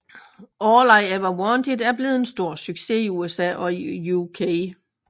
All I Ever Wanted er blevet en stor succes i USA og i UK